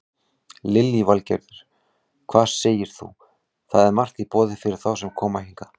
Lillý Valgerður: Hvað segir þú, það er margt í boði fyrir þá sem koma hingað?